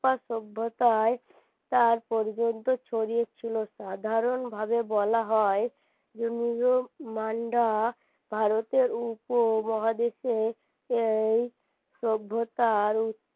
সভ্যতায় তার পর্যন্ত ছড়িয়ে ছিল সাধারণ ভাবে বলা হয় ভারতের উপমহাদেশে এই সভ্যতার